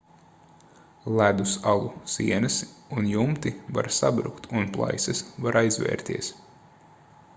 ledus alu sienas un jumti var sabrukt un plaisas var aizvērties